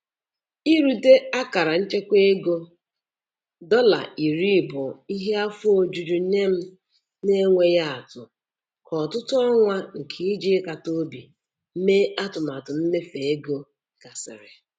Irute akara nchekwa ego dọla puku iri bụ ihe afọ ojuju nye m n'enweghị atụ ka ọtụtụ ọnwa nke iji ịkata obi mee atụmatụ mmefu ego gasịrị.